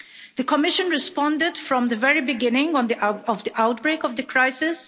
The Commission responded from the very beginning of the outbreak of the crisis.